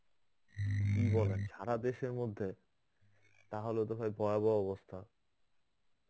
কি বলেন? সারা দেশের মধ্যে তাহলে তো ভাই ভয়াবহ অবস্থা.